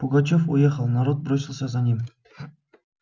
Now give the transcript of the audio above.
пугачёв уехал народ бросился за ним